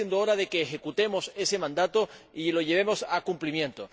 Va siendo hora de que ejecutemos ese mandato y lo llevemos a cumplimiento.